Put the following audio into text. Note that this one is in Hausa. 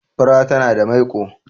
fura tana da maiko